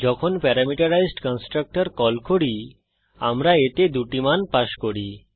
যখন parameterized constructor call করি আমরা এতে দুটি মান পাস করি